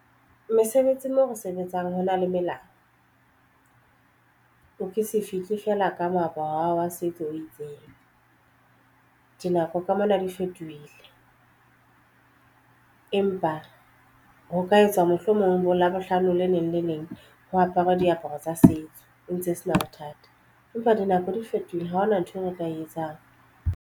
Mesebetsi mo re sebetsang hona le melao. O ke se fihle feela ka moaparo wa setso o itseng. Dinako ka mona di fetohile, empa ho ka etswa mohlomong bo labohlano le leng le leng ho aparwe diaparo tsa setso e ntse e sena bothata empa dinako di fetohile ha hona nthwe re ka e etsang.